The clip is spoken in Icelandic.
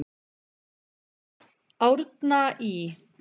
Árna Ý.